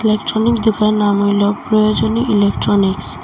পেছনের দুকানের নাম হইল প্রয়োজনী ইলেক্ট্রনিক্স ।